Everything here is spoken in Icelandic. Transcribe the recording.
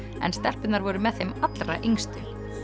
en stelpurnar voru með þeim allra yngstu